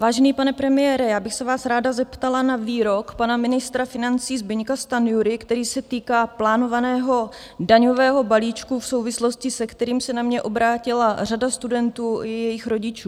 Vážený pane premiére, já bych se vás ráda zeptala na výrok pana ministra financí Zbyňka Stanjury, který se týká plánovaného daňového balíčku v souvislosti, se kterým se na mě obrátila řada studentů i jejich rodičů.